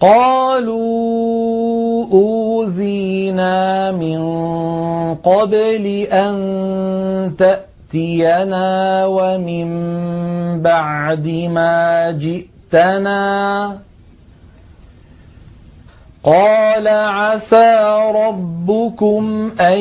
قَالُوا أُوذِينَا مِن قَبْلِ أَن تَأْتِيَنَا وَمِن بَعْدِ مَا جِئْتَنَا ۚ قَالَ عَسَىٰ رَبُّكُمْ أَن